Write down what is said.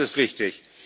Das ist richtig!